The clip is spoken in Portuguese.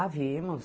Ah, vimos.